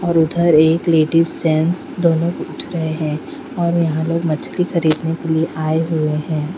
और उधर एक लेडीज जेंट्स दोनों उठ रहे है और यहाँ लोग मछली खरीदने के लिए आये हुए है.